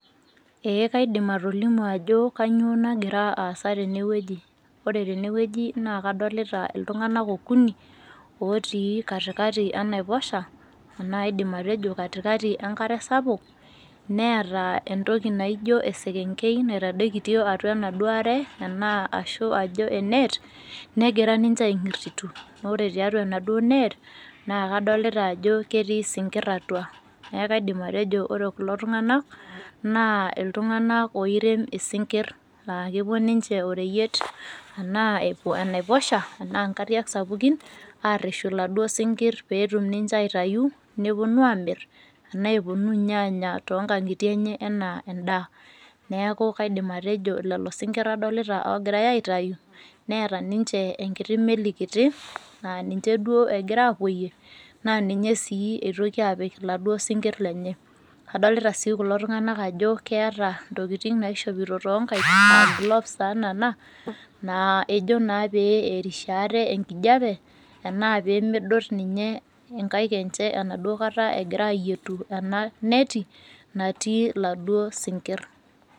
Ee kaidim atolimu ajo kanyiio nagira aasa tenewoji. Ore tenewoji naa kadolita iltunganak okuni otii katikati enaoposha naidim atejo katikati enkare sapuk, neeta entoki naijo eselenkei naitadoikitio atua ena enaduo ashu ajo enet negira ninje ainkirsitu. Ore tiatua enaduo net kadolita ajo ketii isinkir atua neeku kaidim atejo ore kulo tungani naa iltunganak oirem isinkir, aakepuo ninje oreyiet enaa epuo enaiposha enaa ingariak sapukin aareshu iladuo sinkir peetum ninje aitayu, neponu aamir enaa epunu ninye aanya toonkankitie enye enaa endaa. Neeku kaidim atejo lelo sinkir adolita oogirai aitayu, neeta ninje enkiti meli kiti naa ninye duo egira aapoyie, naa ninye sii itoki apik iladuo sinkir lenye. Adolita sii kulo tunganak ajo keeta intokitin naishoopito too nankaik, aa gloves taa nena naa ejo naa pee erishie ate enkijape enaa peemedot inkaik enaduo kata egira aayietu ena neti natii iladuo sinkir.